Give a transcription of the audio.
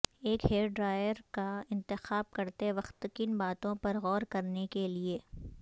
ایک hair dryer کا انتخاب کرتے وقت کن باتوں پر غور کرنے کے لئے